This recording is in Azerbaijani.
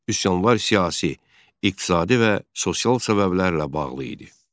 Üsyanlar siyasi, iqtisadi və sosial səbəblərlə bağlı idi.